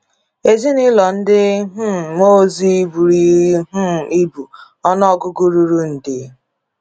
Ezinụlọ ndị um mmụọ ozi buru um ibu, ọnụ ọgụgụ ruru nde.